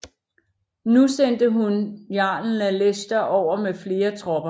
Nu sendte hun jarlen af Leicester over med flere tropper